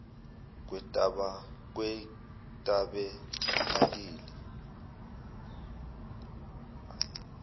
kwetabenakeli